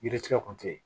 Yiri tigɛ kun te yen